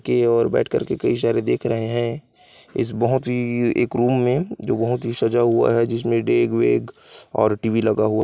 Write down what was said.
की ओर बैठ कर के कई सारे देख रहे है इस बहोत ही एक रूम में जो बहोत ही सजा हुआ है जिसमे डेग वेग और टीवी लगा हुआ --